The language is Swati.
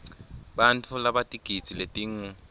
bantfu labatigidzi letingu